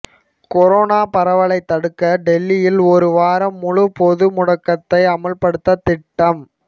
corona பரவலை தடுக்க டெல்லியில் ஒரு வாரம் முழு பொது முடக்கத்தை அமல்படுத்த திட்டம்